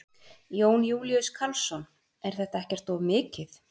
Jón Júlíus Karlsson: Er þetta ekkert of mikið?